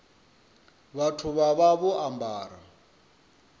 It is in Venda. vhathu vha vha vho ambara